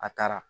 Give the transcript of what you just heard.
A taara